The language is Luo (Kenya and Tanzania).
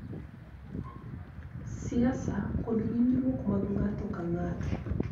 Siasa, kod winjruok mag ng�ato ka ng�ato,